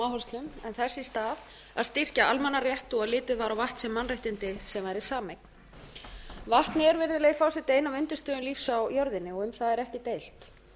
áherslum en þess í stað að styrkja almannarétt og litið var á vatn sem mannréttindi sem væri sameign vatnið er virðulegi forseti ein af undirstöðum lífs á jörðinni um það er ekki deilt